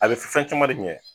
A bɛ fɛn caman de ɲɛ